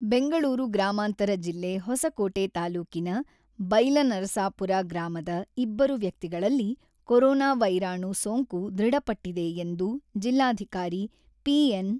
ಬೆಂಗಳೂರು ಗ್ರಾಮಾಂತರ ಜಿಲ್ಲೆ ಹೊಸಕೋಟೆ ತಾಲೂಕಿನ ಬೈಲನರಸಾಪುರ ಗ್ರಾಮದ ಇಬ್ಬರು ವ್ಯಕ್ತಿಗಳಲ್ಲಿ ಕೊರೊನಾ ವೈರಾಣು ಸೋಂಕು ದೃಢಪಟ್ಟಿದೆ ಎಂದು ಜಿಲ್ಲಾಧಿಕಾರಿ ಪಿ.ಎನ್.